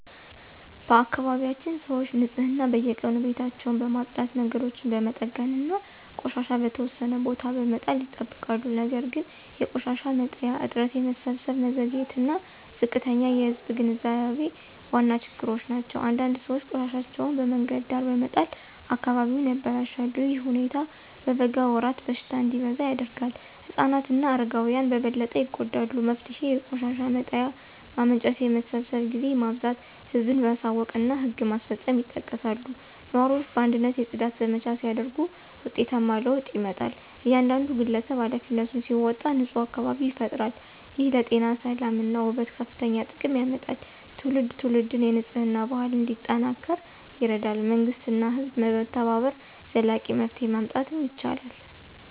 በአካባቢያችን ሰዎች ንፅህናን በየቀኑ ቤታቸውን በማጽዳት መንገዶችን በመጠገን እና ቆሻሻ በተወሰነ ቦታ በመጣል ይጠብቃሉ ነገር ግን የቆሻሻ መጣያ እጥረት የመሰብሰብ መዘግየት እና ዝቅተኛ የህዝብ ግንዛቤ ዋና ችግሮች ናቸው። አንዳንድ ሰዎች ቆሻሻቸውን በመንገድ ዳር በመጣል አካባቢውን ያበላሻሉ። ይህ ሁኔታ በበጋ ወራት በሽታ እንዲበዛ ያደርጋል። ህፃናት እና አረጋውያን በበለጠ ይጎዳሉ። መፍትሄው የቆሻሻ መጣያ ማመንጨት የመሰብሰብ ጊዜ ማብዛት ህዝብን ማሳወቅ እና ህግ ማስፈጸም ይጠቀሳሉ። ነዋሪዎች በአንድነት የጽዳት ዘመቻ ሲያደርጉ ውጤታማ ለውጥ ይመጣል። እያንዳንዱ ግለሰብ ኃላፊነቱን ሲወጣ ንፁህ አካባቢ ይፈጠራል። ይህ ለጤና ሰላም እና ውበት ከፍተኛ ጥቅም ያመጣል። ትውልድ ትውልድ የንፅህና ባህል እንዲጠናከር ይረዳል መንግሥት እና ህዝብ በመተባበር ዘላቂ መፍትሄ ማምጣት ይችላሉ።